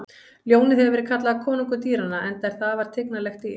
Ljónið hefur verið kallað konungur dýranna enda er það afar tignarlegt dýr.